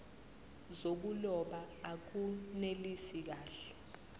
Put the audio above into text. zokuloba akunelisi kahle